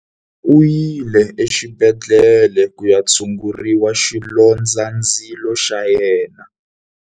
U yile exibedhlele ku ya tshungurisa xilondzandzilo xa yena.